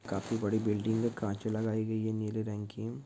काफी बड़ी बिल्डिंग है कांच लगाई गई है नीली रंग--